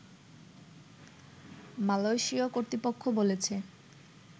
Malaysian কর্তৃপক্ষ বলেছে